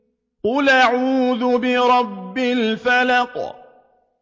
قُلْ أَعُوذُ بِرَبِّ الْفَلَقِ